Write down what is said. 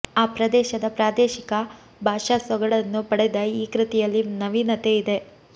ಆ ಪ್ರದೇಶದ ಪ್ರಾದೇಶಿಕ ಭಾಷಾ ಸೊಗಡನ್ನು ಪಡೆದ ಈ ಕೃತಿಯಲ್ಲಿ ನವೀನತೆ ಇದೆ